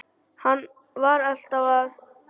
Hann var alltaf að.